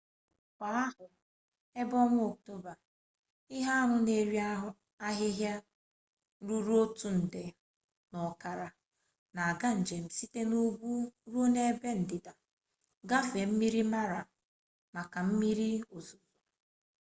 kwa ahọ ebe ọnwa ọktoba ihe anụ n'eri ahịhịa ruru otu nde n'okara n'aga njem site n'ugwu ruo n'ebe ndịda gafee mmiri mara maka mmiri ozuzo